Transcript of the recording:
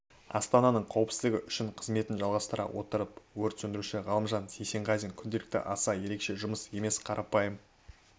астананың қауіпсізідігі үшін қызметін жалғастыра отырып өрт сөндіруші ғалымжан есенғазин күнделікті аса ерекеше жұмыс емес қарапайым